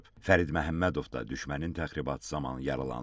Fərid Məhəmmədov da düşmənin təxribatı zamanı yaralanıb.